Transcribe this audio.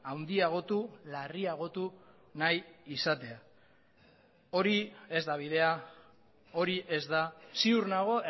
handiagotu larriagotu nahi izatea hori ez da bidea hori ez da ziur nago